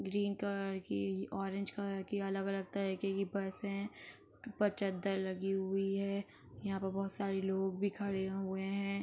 Green colour की orange colour की अलग-अलग तरीके की पर्से हैं। ऊपर चद्दर लगी हुई है। यहां पर बोहोत सारे लोग भी खड़े हुए हैं।